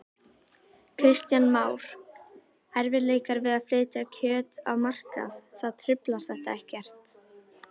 Kristján Már: Erfiðleikar við að flytja kjöt á markað, það truflar þetta ekkert?